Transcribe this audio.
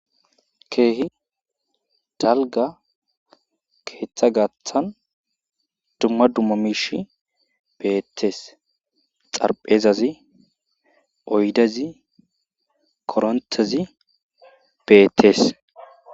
keehi dalga keeththa gaaththan dumma dumma miish beettees xarphezazi oydezi korontezi beettees